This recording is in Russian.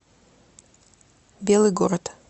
белый город